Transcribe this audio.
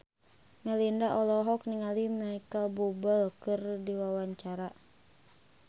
Melinda olohok ningali Micheal Bubble keur diwawancara